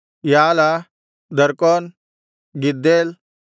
ಯಾಲ ದರ್ಕೋನ್ ಗಿದ್ದೇಲ್